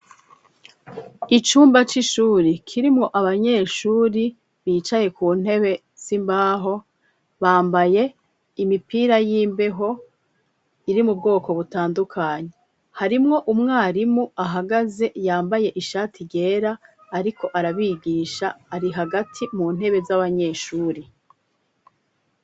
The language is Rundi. Icumba c'ishuri kirimwo abanyeshuri bicaye ku ntebe simbaho bambaye imipira y'imbeho iri mu bwoko butandukanyi harimwo umwarimu ahagaze yambaye ishati ryera, ariko arabigisha ari hagati mu ntebe zo abanyeshuri.